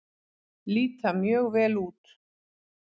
Líta mjög vel út.